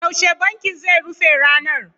Yaushe bankin zai rufe ranar?